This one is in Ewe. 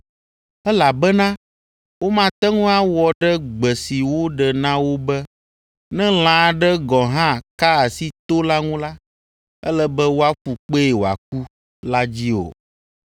elabena womate ŋu awɔ ɖe gbe si woɖe na wo be, “Ne lã aɖe gɔ̃ hã ka asi to la ŋu la, ele be woaƒu kpee wòaku” la dzi o.